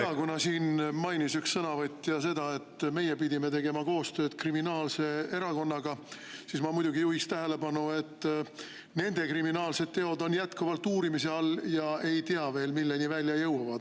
Jaa, kuna siin mainis üks sõnavõtja seda, et meie pidime tegema koostööd kriminaalse erakonnaga, siis ma juhin tähelepanu, et nende kriminaalsed teod on jätkuvalt uurimise all ja veel ei tea, milleni see välja jõuab.